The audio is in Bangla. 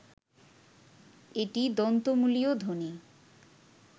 এটি দন্ত্যমূলীয়ধ্বনি